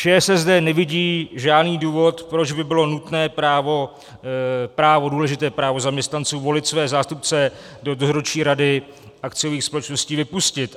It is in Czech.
ČSSD nevidí žádný důvod, proč by bylo nutné právo, důležité právo zaměstnanců volit své zástupce do dozorčí rady akciových společností vypustit.